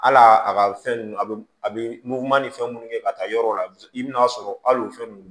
Hal'a ka fɛn nunnu a bɛ a bɛ mugu man ni fɛn munnu kɛ ka taa yɔrɔ la i bɛn'a sɔrɔ al'o fɛn nunnu